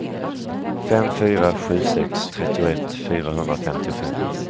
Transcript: fem fyra sju sex trettioett fyrahundrafemtiofem